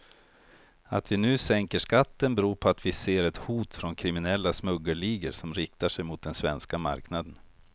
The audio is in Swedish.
Att vi nu sänker skatten beror på att vi ser ett hot från kriminella smuggelligor som riktar sig mot den svenska marknaden.